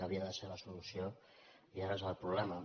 havia de ser la solució i ara és el problema